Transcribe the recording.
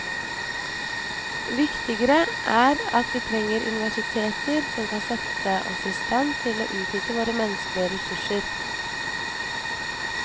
Viktigere er at vi trenger universiteter som kan sette oss i stand til å utnytte våre menneskelige ressurser.